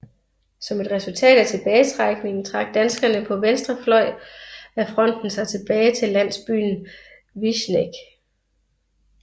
Som et resultat af tilbagetrækningen trak danskerne på venstre fløj af fronten sig tilbage til landsbyen Višneg